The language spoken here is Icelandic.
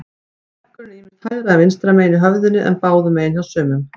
Verkurinn er ýmist hægra eða vinstra megin í höfðinu, en báðum megin hjá sumum.